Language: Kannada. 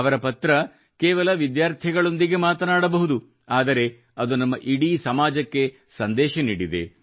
ಅವರ ಪತ್ರ ಕೇವಲ ವಿದ್ಯಾರ್ಥಿಗಳೊಂದಿಗೆ ಮಾತನಾಡಬಹುದು ಆದರೆ ಅದು ನಮ್ಮ ಇಡೀ ಸಮಾಜಕ್ಕೆ ಸಂದೇಶ ನೀಡಿದೆ